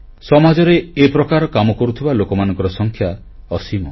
ସମାଜରେ ଏ ପ୍ରକାର କାମ କରୁଥିବା ଲୋକମାନଙ୍କର ସଂଖ୍ୟା ଅସୀମ